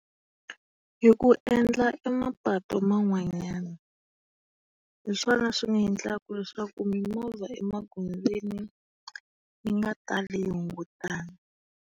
Hi ku endla emapatu man'wanyana. Hi swona swi nga endlaka leswaku mimovha emagondzweni yi nga tali yi .